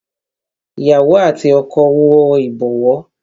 Ìyàwó àti ọkọ wo ibowo